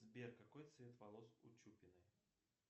сбер какой цвет волос у чупиной